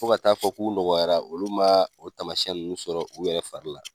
Fo ka taa fɔ k'u nɔgɔyara, olu ma o taamasiyɛn nunnu sɔrɔ u yɛrɛ fari la.